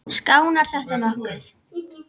Skánar þetta nokkuð?